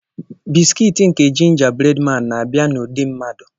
bisikiiti nke ginger breadman na-abịa n'ụdị mmadụ.